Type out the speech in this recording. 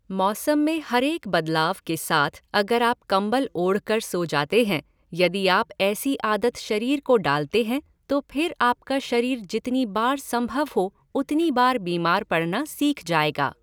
मौसम में हरेक बदलाव के साथ अगर आप कम्बल ओढ़ कर सो जाते हैं, यदि आप ऐसी आदत शरीर को डालते हैं तो फिर आप का शरीर जितनी बार संभव हो उतनी बार बीमार पड़ना सीख जायेगा।